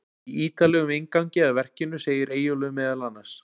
Í ítarlegum inngangi að verkinu segir Eyjólfur meðal annars: